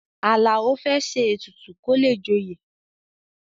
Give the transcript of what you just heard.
Àlàó fẹ́ ṣe ètùtù kó le joyè